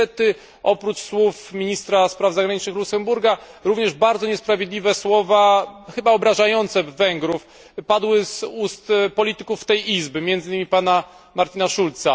Niestety oprócz słów ministra spraw zagranicznych Luksemburga również bardzo niesprawiedliwe słowa, chyba obrażające Węgrów, padły z ust polityków tej Izby, między innymi pana Martina Schulza.